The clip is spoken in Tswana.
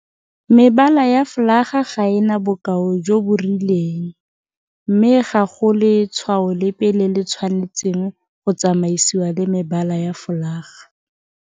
Mebala ya folaga ga e na bokao jo bo rileng mme ga go le tshwao lepe le le tshwanetseng go tsamaisiwa le mebala ya folaga.